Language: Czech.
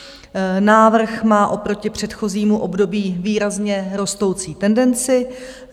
Návrh má oproti předchozímu období výrazně rostoucí tendenci.